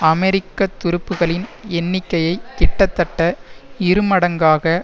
அமெரிக்க துருப்புக்களின் எண்ணிக்கையை கிட்டத்தட்ட இருமடங்காக